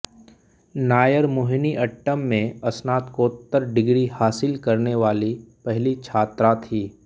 नायर मोहिनीअट्टम में स्नातकोत्तर डिग्री हासिल करने वाली पहली छात्रा थीं